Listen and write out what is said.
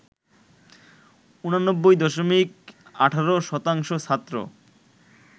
৮৯ দশমিক ১৮ শতাংশ ছাত্র